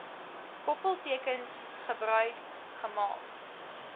koppeltekens gebruik gemaak